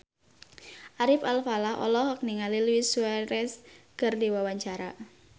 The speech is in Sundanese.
Ari Alfalah olohok ningali Luis Suarez keur diwawancara